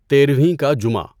تیرہویں کا جمعہ